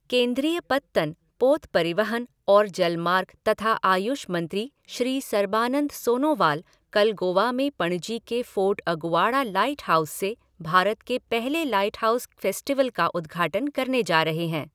केन्द्रीय पत्तन, पोत परिवहन और जलमार्ग तथा आयुष मंत्री श्री सर्बानंद सोनोवाल कल गोवा के पणजी में फ़ोर्ट अगुआड़ा लाइट हाउस से भारत के पहले लाइट हाउस फ़ेस्टिवल का उद्घाटन करने जा रहे हैं।